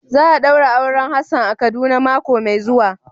Za a daura auren Hassan a kaduna mako mai zuwa.